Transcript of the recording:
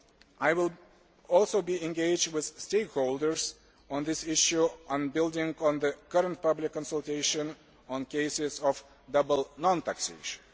I will also be engaging with stakeholders on this issue and building on the current public consultation on cases of double non taxation.